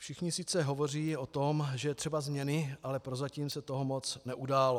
Všichni sice hovoří o tom, že je třeba změny, ale prozatím se toho moc neudálo.